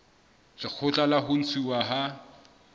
lekgotla la ho ntshuwa ha